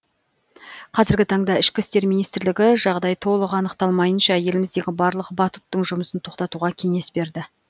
қазіргі таңда ішкі істер министрлігі жағдай толық анықталмайынша еліміздегі барлық батуттың жұмысын тоқтатуға кеңес берді